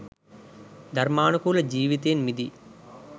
ධර්මානුකුල ජිවිතයෙන් මිදි